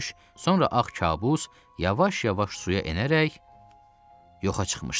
sonra ağ kabus yavaş-yavaş suya enərək yoxa çıxmışdı.